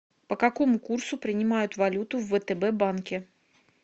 по какому курсу принимают валюту в втб банке